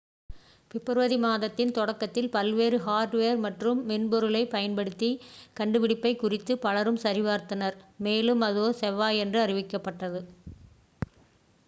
பிப்ரவரி மாதத்தின் தொடக்கத்தில் பல்வேறு ஹார்ட்வேர் மற்றும் மென்பொருளைப் பயன்படுத்தி கண்டுபிடிப்பைக் குறித்து பலரும் சரிபார்த்தனர் மேலும் அது செவ்வாயன்று அறிவிக்கப்பட்டது